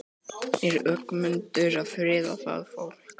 Er Ögmundur að friða það fólk?